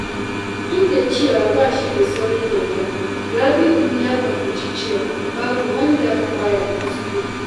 Duk da cewa ba shi da saurin yarda, Rabi’u ya fahimci cewa babu wanda ba ya kuskure.